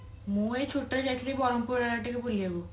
ମୁଁ ଏଇ ଛୁଟିରେ ଯାଇଥିଲି ବ୍ରହ୍ମପୁର ଆଡେ ଟିକେ ବୁଲିବାକୁ